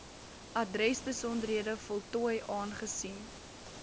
adresbesonderhede voltooi aangesien